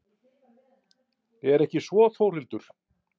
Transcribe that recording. Er ekki svo Þórhildur?